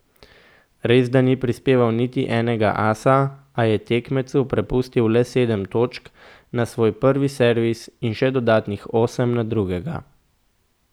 Resda ni prispeval niti enega asa, a je tekmecu prepustil le sedem točk na svoj prvi servis in še dodatnih osem na drugega.